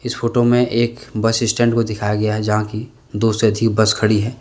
इस फोटो में एक बस स्टैंड को दिखाया गया है जहां कि दो से ती बस खड़ी है।